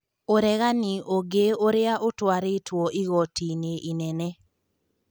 ũregani ũngĩ ũrĩa ũtwarĩtwo igoti-inĩ inene.